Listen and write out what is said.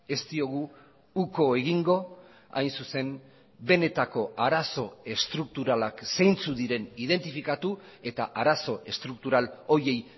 ez diogu uko egingo hain zuzen benetako arazo estrukturalak zeintzuk diren identifikatu eta arazo estruktural horiei